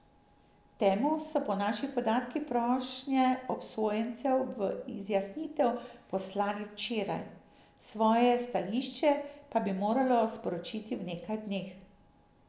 Temu so po naših podatkih prošnje obsojencev v izjasnitev poslali včeraj, svoje stališče pa bi moralo sporočiti v nekaj dneh.